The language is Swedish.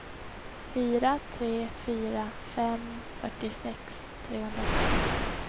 fyra tre fyra fem fyrtiosex trehundrafyrtiofem